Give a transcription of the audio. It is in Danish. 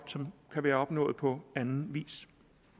som kan være opnået på anden vis